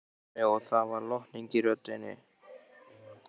Tommi og það var lotning í röddinni.